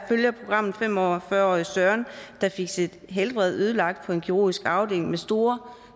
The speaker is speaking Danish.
følger programmet fem og fyrre årige søren der fik sit helbred ødelagt på en kirurgisk afdeling med store